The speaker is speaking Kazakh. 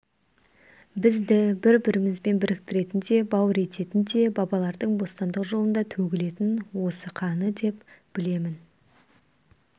бізді бір-бірімізбен біріктіретін де бауыр ететін де бабалардың бостандық жолында төгілген осы қаны деп білемін